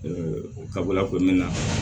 o kabila ko n bɛ na